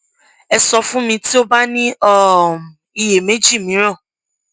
ẹ sọ fun mi ti o ba ni um iyemeji miiran